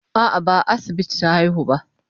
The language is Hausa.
A'a, ba a asibiti ta haihu ba.